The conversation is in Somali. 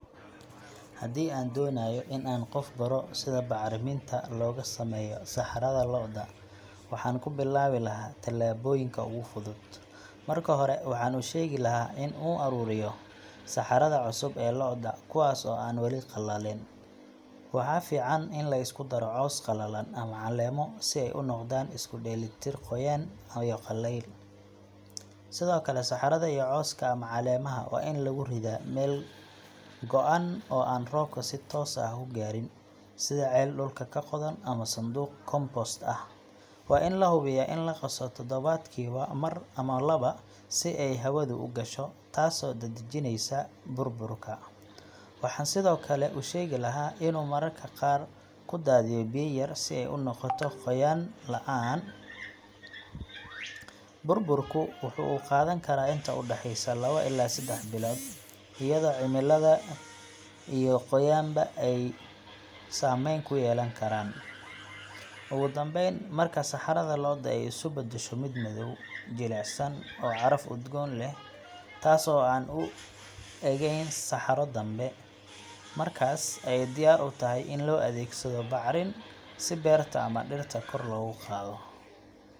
Bacriminta, oo sidoo kale loo yaqaan bacrimiyeyaasha, waa walxo si gaar ah loogu daro ciidda si loo kordhiyo nafaqooyinka muhiimka u ah koritaanka dhirta, waxaana jira laba nooc oo waaweyn oo bacriminta ah: kuwa dabiiciga ah sida digada xoolaha, humus-ka, iyo compost-ka, iyo kuwa kiimika ah oo warshadaysan sida ammonium nitrate, urea, iyo superphosphate, kuwaasoo si toos ah ugu milma ciidda si ay dhirta uga helaan nitrogen, phosphorus, iyo potassium—nafaqooyinka aasaasiga ah ee loo yaqaan NPK—taasoo gacan ka geysata in la helo dalag miro badan leh, midab fiican leh, iyo korriin degdeg ah; haddana, isticmaalka xad-dhaafka ah ee bacriminta.